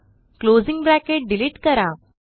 closing bracket delete करा